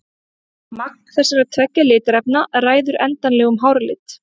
Magn þessara tveggja litarefna ræður endanlegum hárlit.